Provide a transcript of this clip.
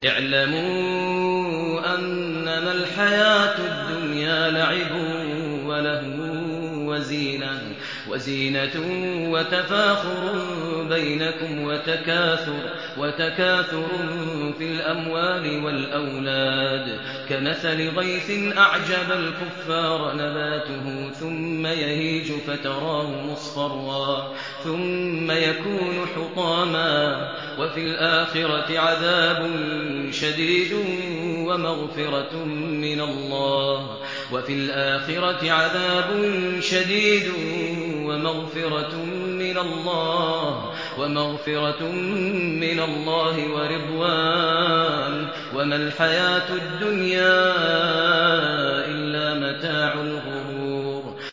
اعْلَمُوا أَنَّمَا الْحَيَاةُ الدُّنْيَا لَعِبٌ وَلَهْوٌ وَزِينَةٌ وَتَفَاخُرٌ بَيْنَكُمْ وَتَكَاثُرٌ فِي الْأَمْوَالِ وَالْأَوْلَادِ ۖ كَمَثَلِ غَيْثٍ أَعْجَبَ الْكُفَّارَ نَبَاتُهُ ثُمَّ يَهِيجُ فَتَرَاهُ مُصْفَرًّا ثُمَّ يَكُونُ حُطَامًا ۖ وَفِي الْآخِرَةِ عَذَابٌ شَدِيدٌ وَمَغْفِرَةٌ مِّنَ اللَّهِ وَرِضْوَانٌ ۚ وَمَا الْحَيَاةُ الدُّنْيَا إِلَّا مَتَاعُ الْغُرُورِ